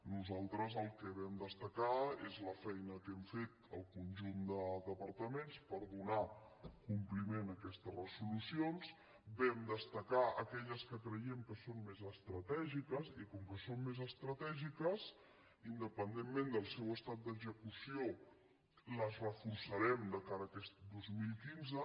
nosaltres el que vam destacar és la feina que hem fet el conjunt de departaments per donar compliment a aquestes resolucions vam destacar aquelles que creiem que són més estratègiques i com que són més estratègiques independentment del seu estat d’execució les reforçarem de cara a aquest dos mil quinze